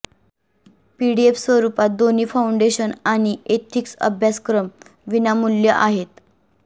PDF स्वरूपात दोन्ही foundation आणि एथिक्स अभ्यासक्रम विनामूल्य आहेत